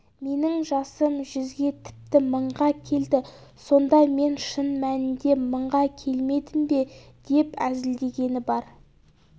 менің жасым жүзге тіпті мыңға келді сонда мен шын мәнінде мыңға келмедім бе деп әзілдегені бар